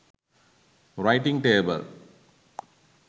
writing table